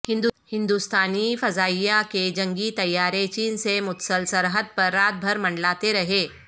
ہندوستانی فضائیہ کے جنگی طیارے چین سے متصل سرحد پر رات بھر منڈلاتے رہے